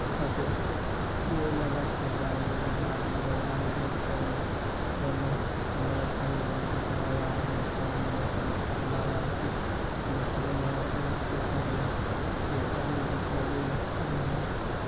ऊपर से ये लगास कैमरा है। ये बूढ़ा आदमी हैं। और आगे मे थोड़ा नोह नोव पगड़ी बांध के ठड़ा हुआ हैं । ये पानी में नोव चल चला रहा हैं उसके दो है और उसके साइड में ये आदमी बीच नदी में अभी हैं।